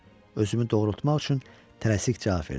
Özümü doğrultmaq üçün tələsik cavab verdim.